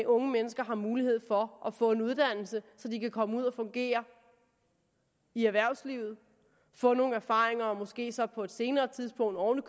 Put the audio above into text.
unge mennesker har mulighed for at få en uddannelse så de kan komme ud at fungere i erhvervslivet få nogle erfaringer og måske så på et senere tidspunkt oven